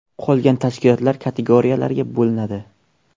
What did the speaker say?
Qolgan tashkilotlar kategoriyalarga bo‘linadi.